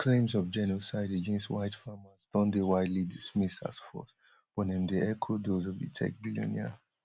im claims of genocide against white farmers don deywidely dismissed as false but dem dey echo those of di tech billionaire